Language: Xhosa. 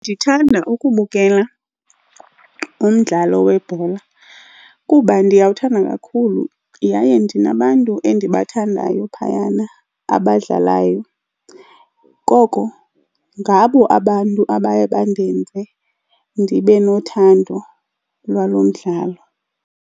Ndithanda ukubukela umdlalo webhola kuba ndiyawuthanda kakhulu yaye ndinabantu endibathandayo phayana abadlalayo. Koko ngabo abantu abaye mandenze ndibe nothando lwalo mdlalo.